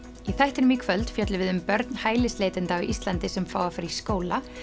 í þættinum í kvöld fjöllum við um börn hælisleitenda á Íslandi sem fá að fara í skóla